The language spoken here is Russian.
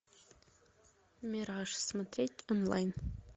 мираж смотреть онлайн